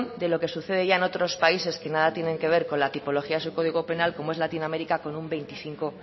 de lo que sucede ya en otros países que nada tienen que ver con la tipología de su código penal como es la latinoamérica con un veinticinco